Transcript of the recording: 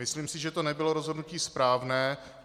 Myslím si, že to nebylo rozhodnutí správné.